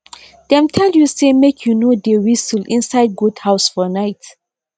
dem tell you say make you no dey whistle inside goat house for nigh